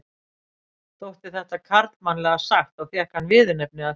Þótti þetta karlmannlega sagt og fékk hann viðurnefnið af því.